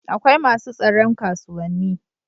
akwai masu tsaron kasuwanni